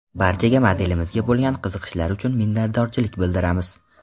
Barchaga modelimizga bo‘lgan qiziqishlari uchun minnatdorchilik bildiramiz!